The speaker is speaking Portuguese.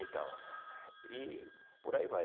Então, e por aí vai.